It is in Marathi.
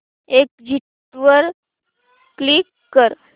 एग्झिट वर क्लिक कर